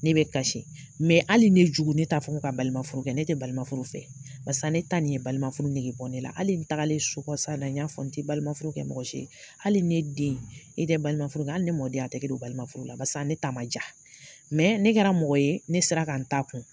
Ne bɛ kasi hali ne jugu ne t'a fɔ k'a ka balima furukɛ ne tɛ balimaf fɛ barisa ne ta nin ye balima furu nigi bɔ ne la hali n tagalen so kɔ sa in na n y'a fɔ n tɛ balima furu kɛ mɔgɔsi ye hali ne den e tɛ balima furu kɛ hali ne mɔden a tɛ kɛ don balima furu la basike ne ta man ja ne kɛra mɔgɔ ye ne sera ka n ta kun.